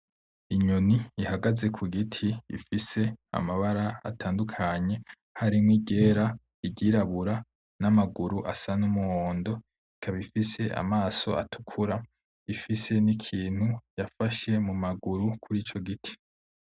Inyoni ihagaze kugiti ifise amabara atandukanye harimwo iryera; iryirabura n'amaguru asa n'umuhondo ikaba ifise amaso atukura ifise nikintu yafashe mumaguru kurico giti.